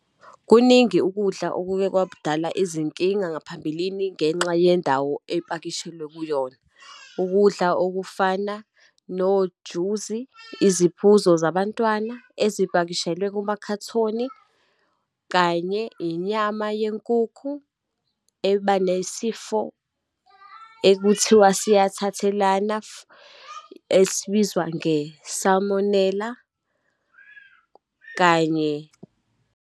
Kuningi ukudla okuke kwakudala izinkinga ngaphambilini ngenxa yendawo epakishelwe kuyona, ukudla okufana nojusi, iziphuzo zabantwana ezipakishelwe kumakhathoni, kanye inyama yenkukhu eba nesifo ekuthiwa siyathathelana , esibizwa nge-salmonella, kanye.